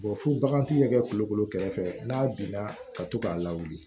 fo baganti yɛrɛ kɛ kulukoro kɛrɛfɛ n'a binna ka to k'a lawuli